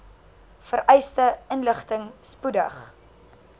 vereiste inligting spoedig